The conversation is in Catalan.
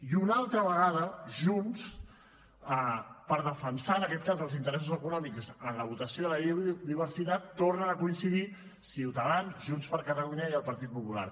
i una altra vegada junts per defensar en aquest cas els interessos econòmics en la votació de la llei de la biodiversitat tornen a coincidir ciutadans junts per catalunya i el partit popular